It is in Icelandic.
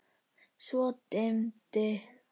Svo dimmdi.